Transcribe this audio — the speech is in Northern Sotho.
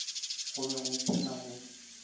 go be go phela go